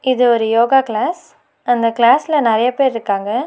இது ஒரு யோகா க்ளாஸ் அந்த க்ளாஸ்ல நெறைய பேர்ருக்காங்க.